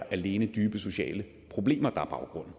alene er dybe sociale problemer der er baggrunden